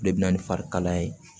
O de bɛ na ni farikalaya ye